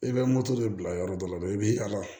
I bɛ moto de bila yɔrɔ dɔ la dɛ i bɛ ala